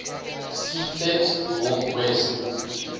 ctext north west